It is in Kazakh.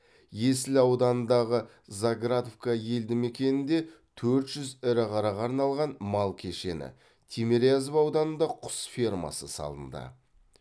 есіл ауданындағы заградовка елді мекенінде төрт жүз ірі қараға арналған мал кешені тимирязев ауданында құс фермасы салынды